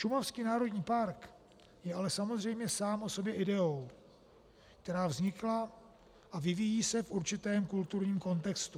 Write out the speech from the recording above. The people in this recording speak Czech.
Šumavský národní park je ale samozřejmě sám o sobě ideou, která vznikla a vyvíjí se v určitém kulturním kontextu.